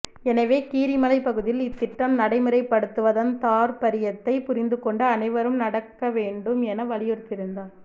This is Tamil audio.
எனவே கீரிமலைப் பகுதியில் இத்திட்டம் நடமுறைப்படுத்துவதன் தார்பரியத்தை புரிந்து கொண்டு அனைவரும் நடக்க வேண்டும் என வலியுறுத்தியிருந்தார்